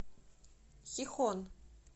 хихон